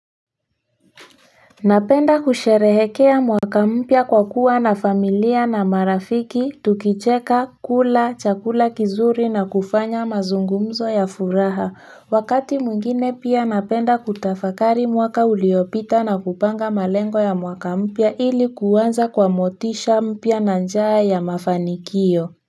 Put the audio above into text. Napenda kusherehekea mwaka mpya kwa kuwa na familia na marafiki tukicheka kula chakula kizuri na kufanya mazungumzo ya furaha wakati mwingine pia napenda kutafakari mwaka uliopita na kupanga malengo ya mwaka mpya ili kuanza kwa motisha mpya na njaa ya mafanikio.